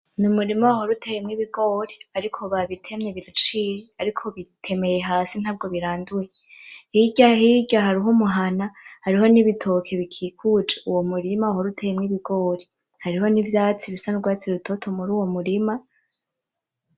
N,umurima wahora uteyemwo ibigori ariko babitemye biraciye ariko bitemeye hasi ntabwo biranduye hirya hirya hariho umuhana hariho n'ibitoke hariyo n'ibitoke bikikuje uwo murima wahora uteyemwo ibigori hariho n,ivyatsi bisa n'urwatsi rutoto muri uwo murima.